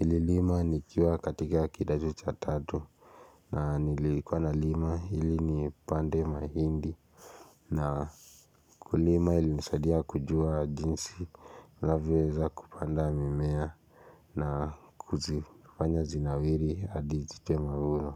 Nililima nikiwa katika kidato cha tatu na nilikuwa na lima hili ni pande mahindi na kulima ilinisadia kujua jinsi navyoweza kupanda mimea na huzifanya zinawiri hadi zitoea maua.